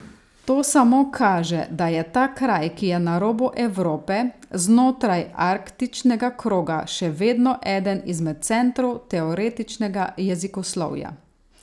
To samo kaže, da je ta kraj, ki je na robu Evrope, znotraj arktičnega kroga, še vedno eden izmed centrov teoretičnega jezikoslovja.